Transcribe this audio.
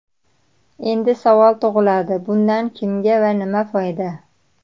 Endi savol tug‘iladi, bundan kimga va nima foyda?